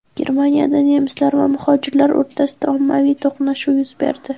Germaniyada nemislar va muhojirlar o‘rtasida ommaviy to‘qnashuv yuz berdi.